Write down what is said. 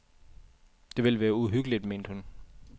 Det ville være uhyggeligt, mente hun.